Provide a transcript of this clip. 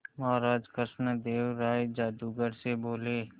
महाराज कृष्णदेव राय जादूगर से बोले